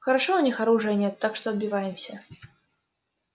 хорошо у них оружия нет так что отбиваемся